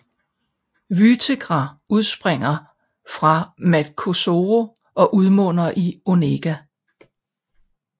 Vytegra udspringer fra Matkozero og udmunder i Onega